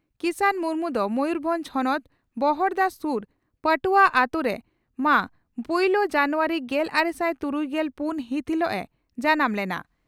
ᱠᱤᱥᱟᱱ ᱢᱩᱨᱢᱩ ᱫᱚ ᱢᱚᱭᱩᱨᱵᱷᱚᱸᱡᱽ ᱦᱚᱱᱚᱛ ᱵᱚᱦᱚᱲᱫᱟ ᱥᱩᱨ ᱯᱟᱴᱩᱣᱟᱹ ᱟᱛᱩ ᱨᱮ ᱢᱟᱹ ᱯᱩᱭᱞᱟᱹ ᱡᱟᱱᱩᱣᱟᱨᱤ ᱜᱮᱞᱟᱨᱮᱥᱟᱭ ᱛᱩᱨᱩᱭᱜᱮᱞ ᱯᱩᱱ ᱦᱤᱛ ᱦᱤᱞᱚᱜ ᱮ ᱡᱟᱱᱟᱢ ᱞᱮᱱᱟ ᱾